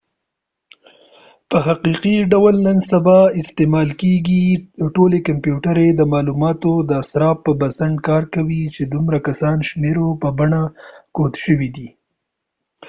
په حقیقي ډول نن سبا استعمال کې ټولې کمپیوټرې د معلوماتو د اصراف په بنسټ کار کوي چې د دوه ګونو شمېرو په بڼه کوډ شوي وي